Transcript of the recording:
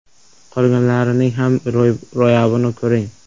Qolganlarining ham ro‘yobini ko‘ring!